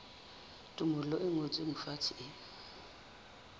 tumello e ngotsweng fatshe e